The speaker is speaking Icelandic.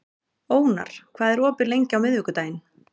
Ónar, hvað er opið lengi á miðvikudaginn?